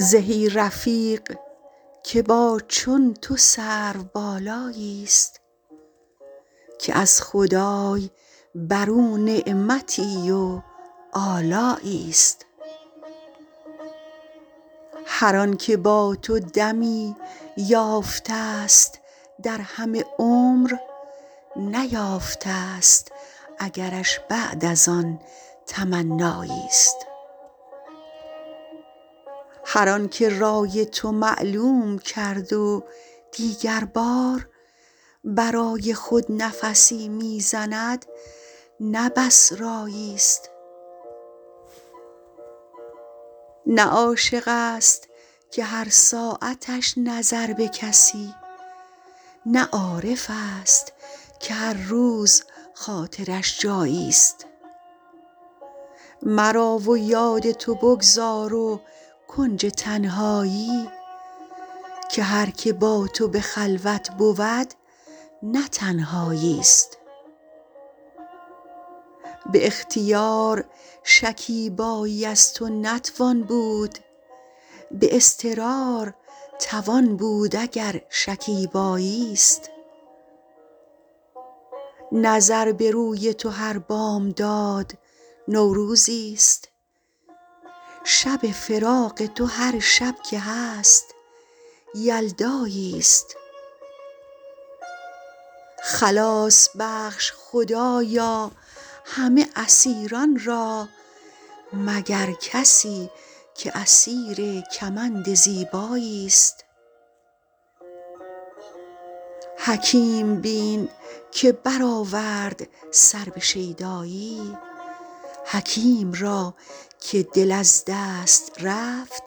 زهی رفیق که با چون تو سروبالایی است که از خدای بر او نعمتی و آلایی است هر آن که با تو دمی یافته است در همه عمر نیافته است اگرش بعد از آن تمنایی است هر آن که رای تو معلوم کرد و دیگر بار برای خود نفسی می زند نه بس رایی است نه عاشق است که هر ساعتش نظر به کسی نه عارف است که هر روز خاطرش جایی است مرا و یاد تو بگذار و کنج تنهایی که هر که با تو به خلوت بود نه تنهایی است به اختیار شکیبایی از تو نتوان بود به اضطرار توان بود اگر شکیبایی است نظر به روی تو هر بامداد نوروزی است شب فراق تو هر شب که هست یلدایی است خلاص بخش خدایا همه اسیران را مگر کسی که اسیر کمند زیبایی است حکیم بین که برآورد سر به شیدایی حکیم را که دل از دست رفت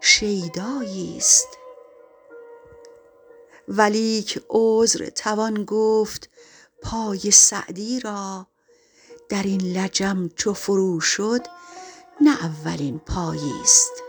شیدایی است ولیک عذر توان گفت پای سعدی را در این لجم چو فرو شد نه اولین پایی است